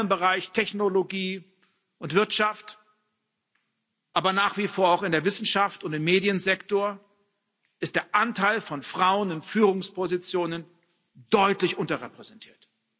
Vor allem im Bereich Technologie und Wirtschaft, aber nach wie vor auch in der Wissenschaft und im Mediensektor ist der Anteil von Frauen in Führungspositionen deutlich unterrepräsentiert.